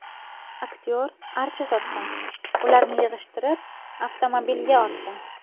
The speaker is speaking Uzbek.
Aktyor archa sotgan, ularni yig‘ishtirib, avtomobilga ortgan.